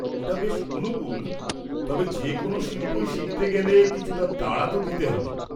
ওটা বেশ অনুকূল তবে যে কোন শিল্পই শিখতে গেলে কিছুটা তাড়া তো দিতে হবে।